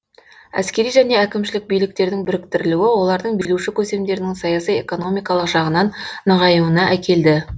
әскери және әкімшілік биліктердің біріктірілуі олардың билеуші көсемдерінің саяси экономикалық жағынан нығаюына әкелді